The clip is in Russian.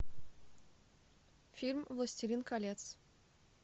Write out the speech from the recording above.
фильм властелин колец